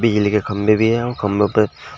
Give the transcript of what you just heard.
बिजली के खंभे भी है और खंभों पर--